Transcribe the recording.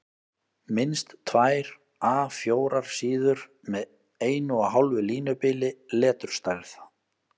Minnst tvær A 4 síður með 1½ línubili, leturstærð